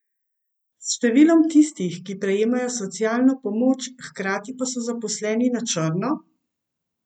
S številom tistih, ki prejemajo socialno pomoč, hkrati pa so zaposleni na črno?